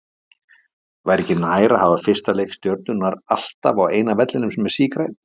Væri ekki nær að hafa fyrsta leik Stjörnunnar alltaf á eina vellinum sem er sígrænn?